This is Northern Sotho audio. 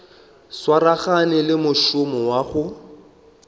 swaragane le mošomo wa go